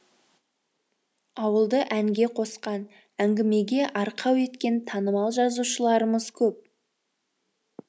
ауылды әнге қосқан әңгімеге арқау еткен танымал жазушыларымыз көп